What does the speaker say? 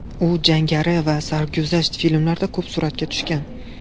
U jangari va sarguzasht filmlarda ko‘p suratga tushgan.